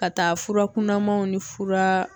Ka taa fura kunnamanw ni furaa